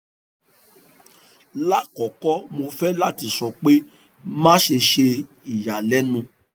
ni akọkọ mo fẹ lati sọ pe maṣe ṣe iyalẹnu